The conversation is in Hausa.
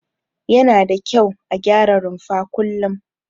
Yana da kyau a gyara rumfa kullum.